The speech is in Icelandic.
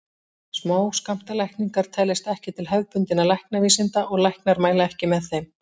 Smáskammtalækningar teljast ekki til hefðbundinna læknavísinda og læknar mæla ekki með þeim.